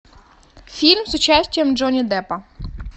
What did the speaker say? фильм с участием джонни деппа